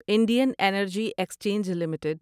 Indian energy exchange limited